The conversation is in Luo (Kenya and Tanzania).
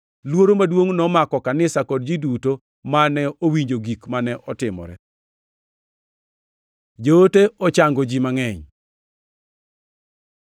Luoro maduongʼ nomako kanisa, kod ji duto mane owinjo gik mane otimore. Joote ochango ji mangʼeny